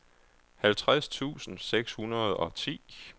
halvtreds tusind seks hundrede og ti